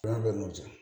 An bɛ n'o diya